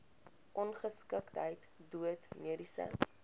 ongeskiktheid dood mediese